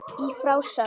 Í frásögn